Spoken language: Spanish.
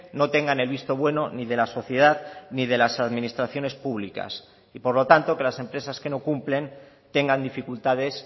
no tengan el visto bueno ni de la sociedad ni de las administraciones públicas y por lo tanto que las empresas que no cumplen tengan dificultades